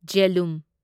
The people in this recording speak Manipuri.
ꯓꯦꯂꯨꯝ